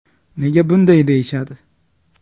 Nega bunday deyishadi?